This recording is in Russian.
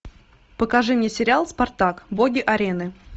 покажи мне сериал спартак боги арены